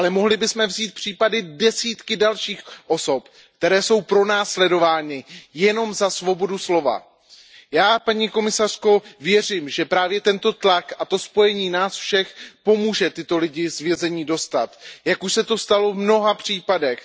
Mohli bychom ale vzít příklady desítek dalších osob, které jsou pronásledovány jenom za svobodu slova. Paní komisařko, já věřím, že právě tento tlak a to spojení nás všech pomůže tyto lidi z vězení dostat, jak už se to stalo v mnoha případech.